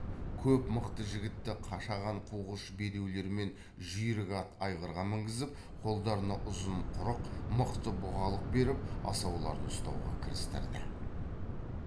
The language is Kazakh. көп мықты жігітті қашаған қуғыш бедеулер мен жүйрік ат айғырға мінгізіп қолдарына ұзын құрық мықты бұғалық беріп асауларды ұстауға кірістірді